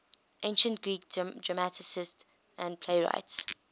ancient greek dramatists and playwrights